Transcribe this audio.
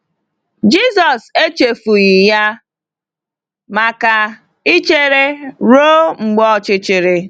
Jisọs echefughị ya maka ichere ruo mgbe ọchịchịrị.